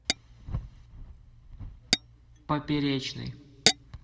поперечный